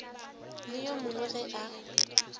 le yo mongwe ge a